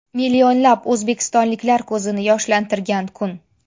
Millionlab o‘zbekistonliklar ko‘zini yoshlantirgan kun.